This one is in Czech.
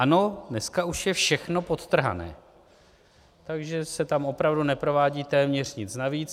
Ano, dneska už je všechno podtrhané, takže se tam opravdu neprovádí téměř nic navíc.